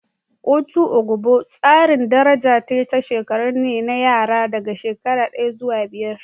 Otu ogbo tsarin daraja ta shekaru ne na yara daga shekara daya zuwa biyar.